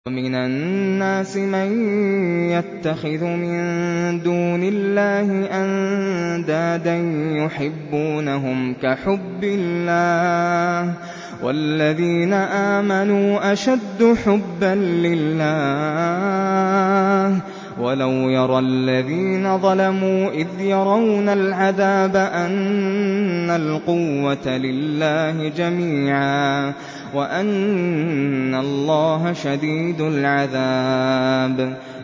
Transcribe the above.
وَمِنَ النَّاسِ مَن يَتَّخِذُ مِن دُونِ اللَّهِ أَندَادًا يُحِبُّونَهُمْ كَحُبِّ اللَّهِ ۖ وَالَّذِينَ آمَنُوا أَشَدُّ حُبًّا لِّلَّهِ ۗ وَلَوْ يَرَى الَّذِينَ ظَلَمُوا إِذْ يَرَوْنَ الْعَذَابَ أَنَّ الْقُوَّةَ لِلَّهِ جَمِيعًا وَأَنَّ اللَّهَ شَدِيدُ الْعَذَابِ